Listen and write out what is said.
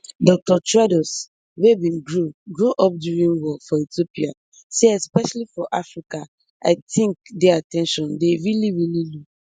dr tedros wey bin grow grow up during war for ethiopia say especially for africa i tink dey at ten tion dey really really low